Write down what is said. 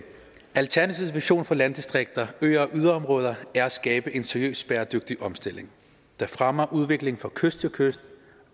alternativets vision for landdistrikter øer og yderområder er at skabe en seriøs bæredygtig omstilling der fremmer udviklingen fra kyst til kyst